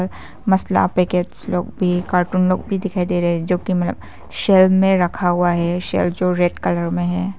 मसला पैकेट लोग भी कार्टून लोग भी दिखाई दे रहे हैं जो कि सेल में रखा हुआ है सेल जो रेड कलर में है।